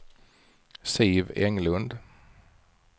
Siv Englund